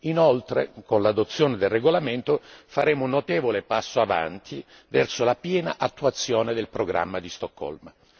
Inoltre, con l'adozione del regolamento faremo un notevole passo avanti verso la piena attuazione del programma di Stoccolma.